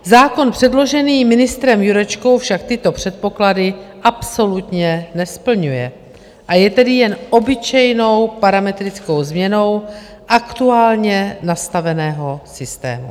Zákon předložený ministrem Jurečkou však tyto předpoklady absolutně nesplňuje, a je tedy jen obyčejnou parametrickou změnou aktuálně nastaveného systému.